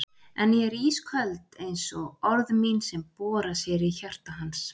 En ég er ísköld einsog orð mín sem bora sér í hjarta hans.